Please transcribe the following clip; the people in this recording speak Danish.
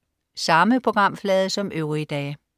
Samme programflade som øvrige dage